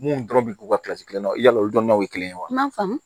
Mun dɔrɔn bɛ k'u ka kelen na yala olu donna o kelen wa m'a faamu